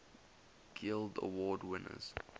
guild award winners